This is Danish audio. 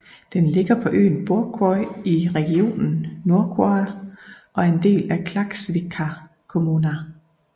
Den ligger på øen Borðoy i regionen Norðoyar og er en del af Klaksvíkar kommuna